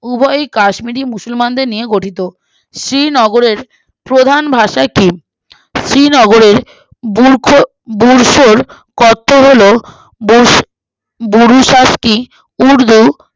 উভয়ই কাশ্মীরি মুসলমানদের নিয়ে গঠিত শ্রীনগরের প্রধান ভাষা কি শ্রীনগরের বুরখো বুরখোর অর্থ হলো বুরঃ বুরুসাকি উর্দু